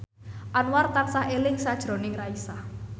Anwar tansah eling sakjroning Raisa